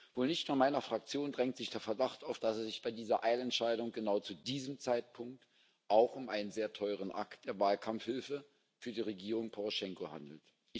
Wohl nicht nur meiner Fraktion drängt sich der Verdacht auf, dass es sich bei dieser Eilentscheidung genau zu diesem Zeitpunkt auch um einen sehr teuren Akt der Wahlkampfhilfe für die Regierung Poroschenko handelt.